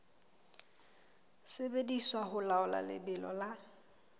sebediswa ho laola lebelo la